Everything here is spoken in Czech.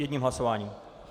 Jedním hlasováním.